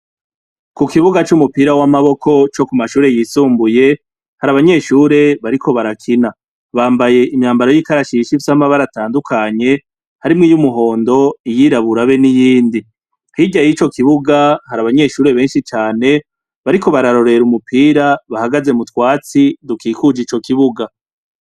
Ku kibuga cumupira wamaboko co kumashure yisumbuye , hari abanyeshure bariko barakina bambaye imyambaro yikarashishi Ifise amabara atandukanye harimwo iy'umuhondo, iyirabura be niyindi .Hirya yico kibuga hari abanyeshure benshi cane bariko bararorera umupira bahagaze mutwatsi dukikuje ico ikibuga.